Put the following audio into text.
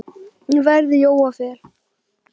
verð Jóa Fel.